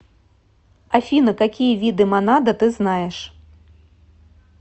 афина какие виды монада ты знаешь